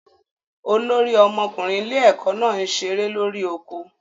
Olórí ọmọkùnrin ilé ẹ̀kọ́ náà ń ṣeré lórí oko